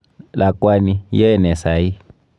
Lakwani, iyae nee saii.